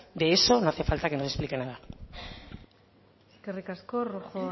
de eso no hace falta que nos explique nada eskerrik asko rojo